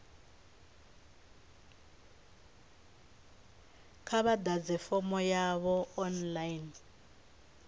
kha vha ḓadze fomo yavho online